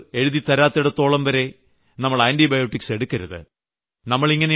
doctor എഴുതിത്തരാത്തിടത്തോളം നാം antibiotic കഴിക്കരുത്